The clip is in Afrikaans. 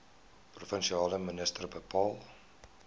provinsiale minister bepaal